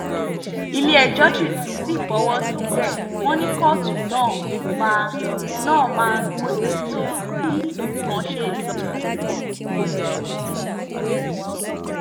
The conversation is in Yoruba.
ilé-ẹjọ́ sì fọwọ́ sí i bẹ́ẹ̀ wọ́n ní kóòtù náà máa náà máa mójútó bí nǹkan bá ṣe lọ sí